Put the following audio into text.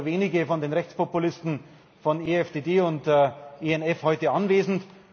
es sind heute nur wenige von den Rechtspopulisten von EFDD und ENF anwesend.